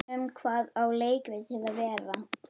Um hvað á leikritið að vera?